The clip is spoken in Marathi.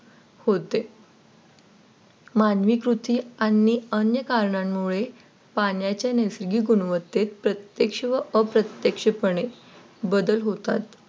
होते मानवी कृती आणिअन्य कारणांमुळे पाण्याच्या नैसर्गिक गुणवत्तेत प्रत्यक्ष व अप्रत्यक्षपणे बदल होतात.